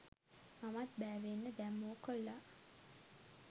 මමත් බෑවෙන්න දැම්මෝ කොල්ලා